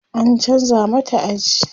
an chanza mata aji